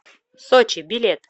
сочи билет